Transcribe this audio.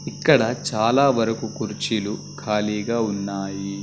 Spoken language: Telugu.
ఇక్కడ చాలా వరకు కుర్చీలు ఖాళీగా ఉన్నాయి.